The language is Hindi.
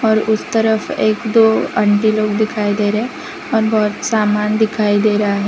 उस तरफ एक दो आंटी लोग दिखाई दे रहे हैं और बहोत समान दिखाई दे रहा है।